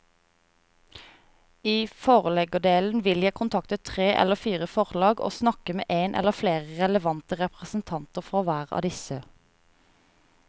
I forleggerdelen vil jeg kontakte tre eller fire forlag og snakke med en eller flere relevante representanter for hver av disse.